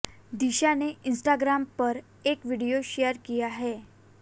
दिशा ने इंस्टाग्राम पर एक वीडियो शेयर किया है